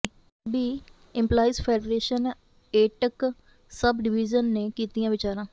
PSEB employees federation AITUC sub division ਨੇ ਕੀਤੀਆਂ ਵਿਚਾਰਾਂ